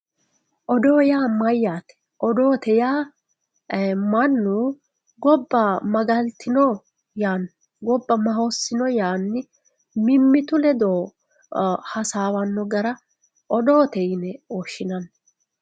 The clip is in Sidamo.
odoo yaa mayyaate odoo yaa mannu gobba magaltino yaanno gobba maa hossino yaanni mimmitu ledo hasaawanno gara odoote yine woshshinanni.